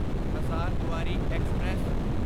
Hazarduari express